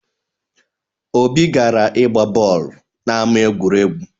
Obi gara ịgba boolu n'ama egwuregwu